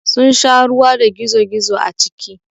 Sun sha ruwa da gizo-gizo a ciki.